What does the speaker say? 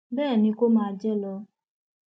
bẹẹ ni kó o máa jẹ lọ